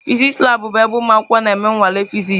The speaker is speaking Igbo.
Fịsịsị labụ bụ ebe ụmụ akwụkwọ na-eme nnwale Fịsịsị.